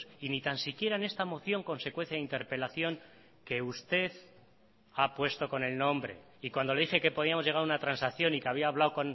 y ni tan siquiera en esta moción con secuencia de interpelación que usted ha puesto con el nombre y cuando le dije que podíamos llegar a una transacción y que había hablado